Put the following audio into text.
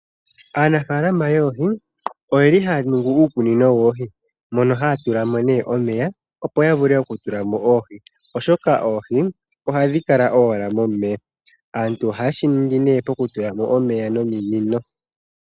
Aanafaalama yoohi oyeli haya ningi uukunino woohi mono ha ya tulamo omeya opo yavule okutulamo oohi oshoka oohi ohadhi kala owala momeya. Aantu ohaya tulamo nee omeya nominino